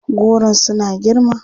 Goron suna girma.